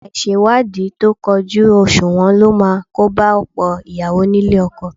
Àìṣèwádìí tó kójú òṣùwọ̀n ló máa kóba ọ̀pọ̀ ìyàwó nílé ọkọ